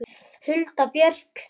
Hulda Björk.